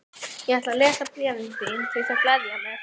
Ég ætla að lesa bréfin þín því þau gleðja mig.